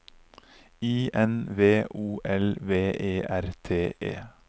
I N V O L V E R T E